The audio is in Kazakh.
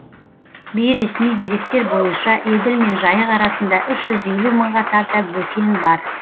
бейресми деректер бойынша еділ мен жайық арасында үш жүз елу мыңға тарта бөкен бар